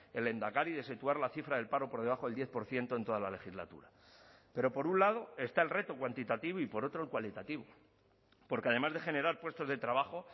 el lehendakari de situar la cifra del paro por debajo del diez por ciento en toda la legislatura pero por un lado está el reto cuantitativo y por otro el cualitativo porque además de generar puestos de trabajo